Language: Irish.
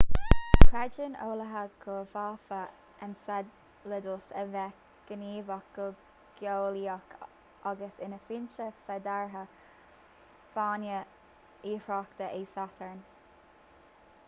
creideann eolaithe go bhféadfadh enceladus a bheith gníomhach go geolaíoch agus ina fhoinse féideartha d'fháinne oighreata e satarn